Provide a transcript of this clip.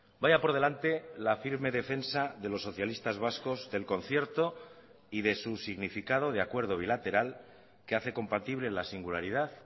vaya por delante la firme defensa de los socialistas vascos del concierto y de su significado de acuerdo bilateral que hace compatible la singularidad